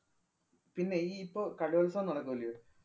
പിന്നെയീ ഇപ്പൊ കലോത്സവം നടക്കുകയല്ല്യൊ.